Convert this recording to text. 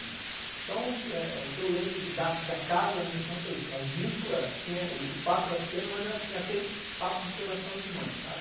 Então, o que eu lembro da casa da minha infância é isso, o agito era pequeno, o espaço era pequeno, mas era aquele papo de coração de mãe, sabe?